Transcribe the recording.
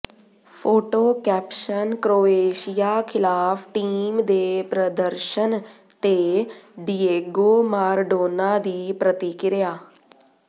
photo caption Croatia ਖਿਲਾਫ team ਦੇ ਪ੍ਰਦਰਸ਼ਨ ਤੇ ਡਿਏਗੋ ਮਾਰਾਡੋਨਾ ਦੀ ਪ੍ਰਤਿਕਿਰਿਆ